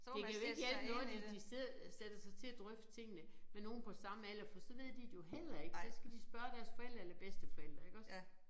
Det kan jo ikke hjælpe noget de de sidder sætter sig til at drøfte tingene med nogen på samme alder fordi så ved de det jo heller ikke så skal de spørge deres forældre eller bedsteforældre iggås